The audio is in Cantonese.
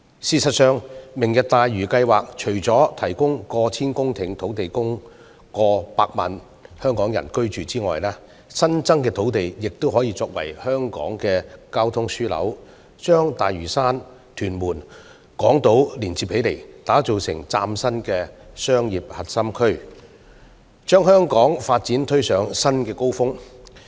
事實上，"明日大嶼願景"計劃除了提供過千公頃土地供過百萬港人居住外，新增土地亦可作為香港的交通樞紐，把大嶼山、屯門及港島連接起來，打造成嶄新的核心商業區，把香港的發展推上新高峰。